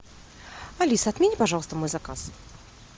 алиса отмени пожалуйста мой заказ